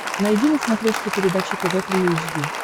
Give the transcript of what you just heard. найди на смотрешке передачу тв три эйч ди